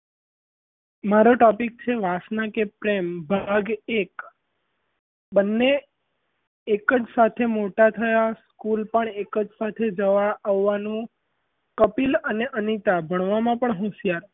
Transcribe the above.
મારો topic છે વાસના કે પ્રેમ ભાગ એક બન્ને એક જ સાથે મોટાં થયાં school પણ એક જ સાથે જવા આવવાનું કપિલ અને અનીતા ભણવામાં પણ હોશિયાર,